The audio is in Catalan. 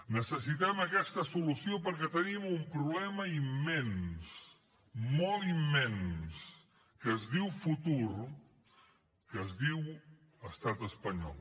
necessitem aquesta solució perquè tenim un problema immens molt immens que es diu futur que es diu estat espanyol